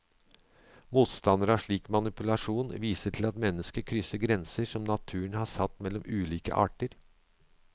Motstanderne av slik manipulasjon viser til at mennesket krysser grenser som naturen har satt mellom ulike arter.